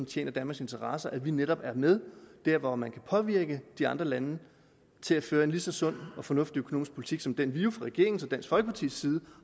tjener danmarks interesser at vi netop er med der hvor man kan påvirke de andre lande til at føre en lige så sund og fornuftig økonomisk politik som den vi jo fra regeringens og dansk folkepartis side